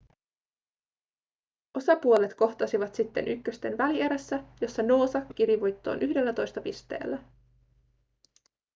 osapuolet kohtasivat sitten ykkösten välierässä jossa noosa kiri voittoon 11 pisteellä